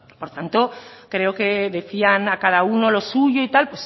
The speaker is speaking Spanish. por tanto creo que decían a cada uno lo suyo y tal